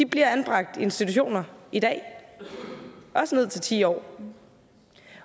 bliver anbragt i institutioner i dag også ned til ti år